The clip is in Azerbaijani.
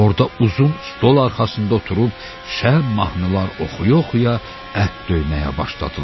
Orada uzun stol arxasında oturub şəhər mahnılar oxuya-oxuya ət döyməyə başladılar.